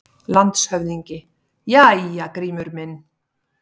LANDSHÖFÐINGI: Jæja, Grímur minn!